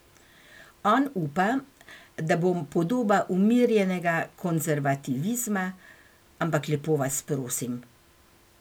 On upa, da bom podoba umirjenega konzervativizma, ampak lepo vas prosim!